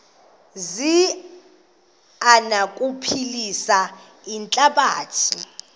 zi anokuphilisa ihlabathi